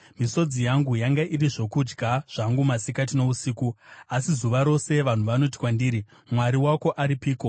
Misodzi yangu yanga iri zvokudya zvangu masikati nousiku, asi zuva rose vanhu vanoti kwandiri, “Mwari wako aripiko?”